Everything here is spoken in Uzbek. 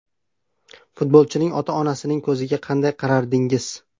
Futbolchining ota-onasining ko‘ziga qanday qarardingiz?